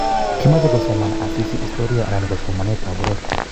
Kimoche kosoman Asisi historia anan ko somanetab poror